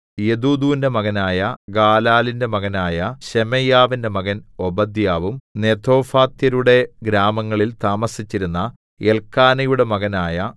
യെദൂഥൂന്റെ മകനായ ഗാലാലിന്റെ മകനായ ശെമയ്യാവിന്റെ മകൻ ഓബദ്യാവും നെതോഫാത്യരുടെ ഗ്രാമങ്ങളിൽ താമസിച്ചിരുന്ന എല്ക്കാനയുടെ മകനായ